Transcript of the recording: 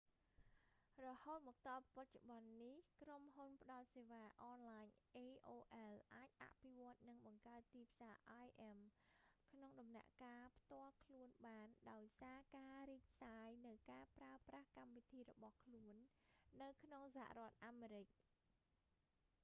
រហូតមកទល់បច្ចុប្បន្ននេះក្រុមហ៊ុនផ្តល់សេវាអនឡាញ aol អាចអភិវឌ្ឍ និងបង្កើតទីផ្សារ im ក្នុងដំណាក់កាលផ្ទាល់ខ្លួនបាន ដោយសារការរីកសាយនូវការប្រើប្រាស់កម្មវិធីរបស់ខ្លួននៅក្នុងសហរដ្ឋអាមេរិក